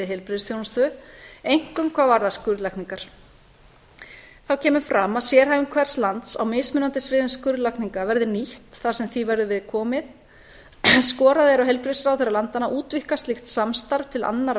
heilbrigðisþjónustu einkum hvað varðar skurðlækningar þá kemur fram að sérhæfing hvers lands á mismunandi sviðum skurðlækninga verði nýtt þar sem því verður við komið skorað er á heilbrigðisráðherra landanna að útvíkka slíkt samstarf til annarra